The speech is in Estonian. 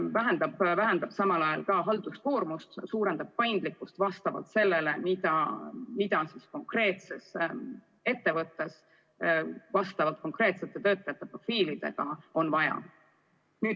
See vähendab samal ajal ka halduskoormust ja suurendab paindlikkust vastavalt sellele, mida konkreetses ettevõttes vastavalt konkreetsete töötajate profiilidele on vaja.